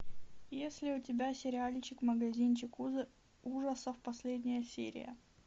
есть ли у тебя сериальчик магазинчик ужасов последняя серия